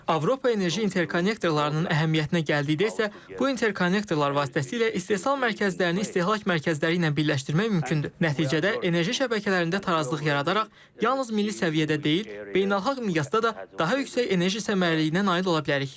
Avropa enerji interkonnektorlarının əhəmiyyətinə gəldikdə isə, bu interkonnektorlar vasitəsilə istehsal mərkəzlərini istehlak mərkəzləri ilə birləşdirmək mümkündür, nəticədə enerji şəbəkələrində tarazlıq yaradaraq yalnız milli səviyyədə deyil, beynəlxalq miqyasda da daha yüksək enerji səmərəliliyinə nail ola bilərik.